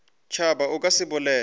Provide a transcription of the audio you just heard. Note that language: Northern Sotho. tšhaba o ka se bolele